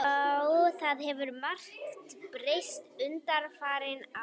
Já, það hefur margt breyst undanfarin ár.